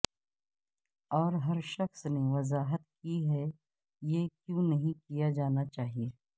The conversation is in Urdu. اور ہر شخص نے وضاحت کی کہ یہ کیوں نہیں کیا جانا چاہئے